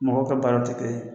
Mɔgɔw ka baara tɛ kelen ye.